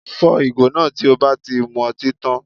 Fọ́ ìgò náà tí o bá ti mu ọtí tá